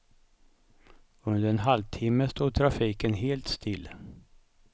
Under en halvtimme stod trafiken helt still.